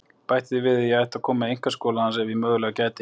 Bætti því við að ég ætti að koma í einkaskóla hans ef ég mögulega gæti.